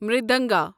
مریدنگا